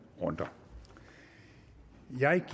runder